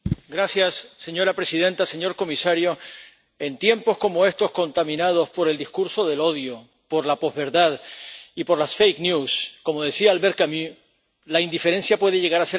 Señora presidenta, señor comisario, en tiempos como éstos contaminados por el discurso del odio, por la posverdad y por las noticias falsas, como decía Albert Camus, la indiferencia puede llegar a ser criminal.